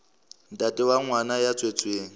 ntate wa ngwana ya tswetsweng